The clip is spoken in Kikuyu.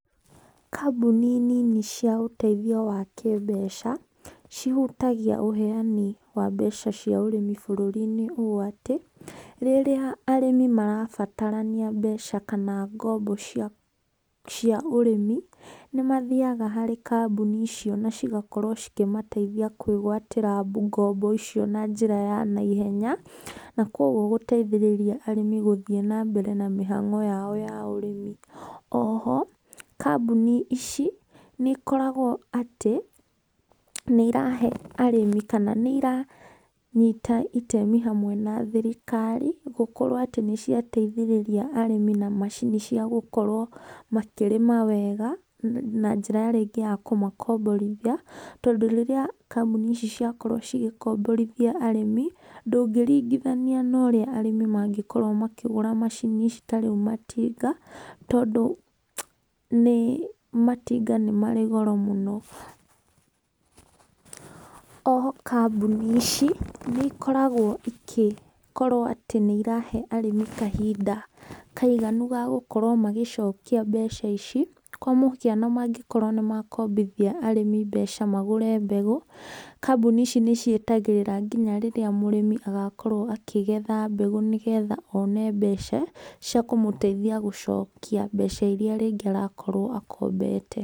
Kambuni nini cia ũteithio wa kĩmbeca cihutagia ũheanĩ wa mbeca cia ũrĩmi bũrũri inĩ ũ atĩ, rĩrĩa arĩmi marabatarania mbeca kana ngombo cia ũrĩmi nĩmathĩaga harĩ kambũnĩ icio na cigakorwo cikĩmateithĩa kwĩgwatĩra ngombo icio na njĩra ya naihenya, na koguo gũteithĩrĩria arĩmi gũthiĩ na mbere na mĩhango yao ya ũrĩmi, oho kambũnĩ ici nĩ ikoragwo atĩ nĩirahe arĩmi kana nairanyĩta itemi hamwe na thirikari gũkorwo atĩ nĩciateithĩrĩria arĩmĩ na macinĩ cia gũkorwo makĩrĩma wega, na njĩra rĩngĩ ya kũmakomborĩthia, tondũ rĩrĩa kambũnĩ ici ciakorwo cigĩkomborĩthia arĩmi, ndũngĩringithania na ũrĩa arĩmi mangĩkorwo makĩgũra macini ici ta rĩũ matinga, tondũ nĩ matinga nĩ marĩ goro mũno. Oho kambũnĩ ici nĩ ikoragwo ĩgĩkoragwo atĩ nĩirahe arĩmi kahĩnda kaiganu ga gũkorwo magĩcokia mbeca ici, kwa mũhiano mangĩkorwo nĩ makombĩthia arĩmi mbeca magũre mbegũ, kambuni ici nĩcietagĩrĩra ngĩnya rĩrĩa mũrĩmi agakorwo akĩgetha mbegũ, nĩgetha one mbeca cia kũmũteithia gũcokĩa mbeca irĩa rĩngĩ arakorwo arakombete.